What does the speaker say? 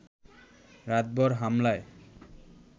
রাতভর হামলায়